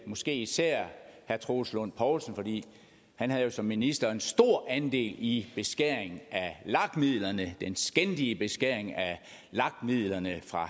måske især herre troels lund poulsen fordi han jo som minister havde en stor andel i beskæringen af lag midlerne den skændige beskæring af lag midlerne fra